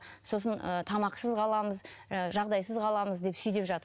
сосын ы тамақсыз қаламыз ы жағдайсыз қаламыз деп сөй деп